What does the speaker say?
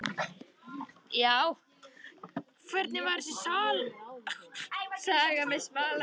Já, hvernig var þessi saga með smalamennskuna?